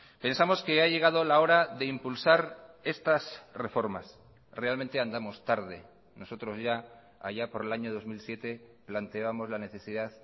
pensamos que ha llegado la hora de impulsar estas reformas realmente andamos tarde nosotros ya allá por el año dos mil siete planteábamos la necesidad